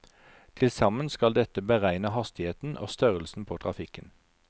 Tilsammen skal dette beregne hastigheten og størrelsen på trafikken.